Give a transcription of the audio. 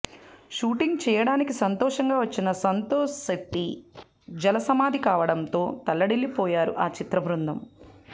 shooting చేయడానికి సంతోషంగా వచ్చిన సంతోష్ శెట్టి జల సమాధి కావడంతో తల్లడిల్లిపోయారు ఆ చిత్ర బృందం